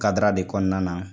Kadara de kɔnɔna na